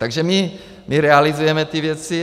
Takže my realizujeme ty věci.